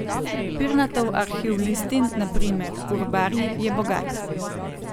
Pirnatov arhiv listin, na primer urbarji, je bogat.